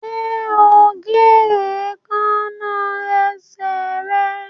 Ṣe o ń gé Èékánná esè rẹ?